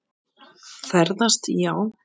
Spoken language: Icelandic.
Ferðast já.